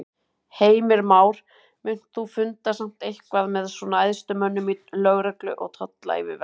Heimir Már: Munt þú funda samt eitthvað með svona æðstu mönnum í lögreglu og tollayfirvalda?